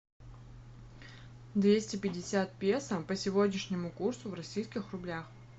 двести пятьдесят песо по сегодняшнему курсу в российских рублях